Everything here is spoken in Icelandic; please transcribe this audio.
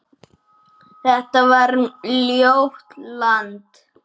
Þetta var ljótt land.